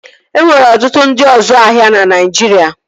E nwere ọtụtụ ndị ọzu ahịa na Naijiria